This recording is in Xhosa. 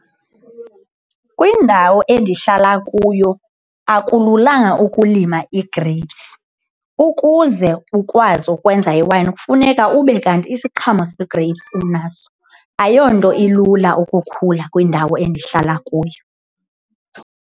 Kwindawo endihlala kuyo akululanga ukulima igreyipsi, ukuze ukwazi ukwenza iwayini kufuneka ube kanti isiqhamo segreyipsi unaso, ayonto ilula ukukhula kwindawo endihlala kuyo.